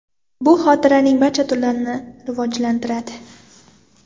Bu xotiraning barcha turlarini rivojlantiradi.